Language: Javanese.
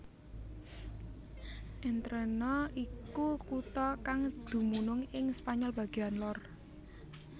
Entrena iku kutha kang dumunung ing Spanyol bagéan lor